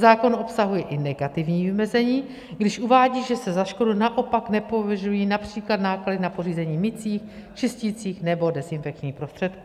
Zákon obsahuje i negativní vymezení, když uvádí, že se za škodu naopak nepovažují například náklady na pořízení mycích, čisticích nebo dezinfekčních prostředků.